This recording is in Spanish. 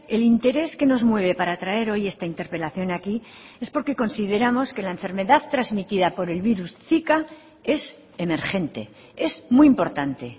el interés que nos mueve para traer hoy esta interpelación aquí es porque consideramos que la enfermedad transmitida por el virus zika es emergente es muy importante